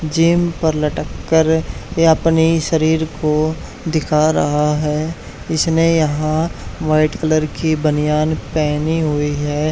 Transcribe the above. Gym पर लटक कर ये अपनी शरीर को दिखा रहा है इसने यहां व्हाइट कलर की बनियान पहनी हुई है।